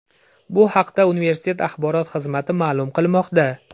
Bu haqda universitet axborot xizmati ma’lum qilmoqda.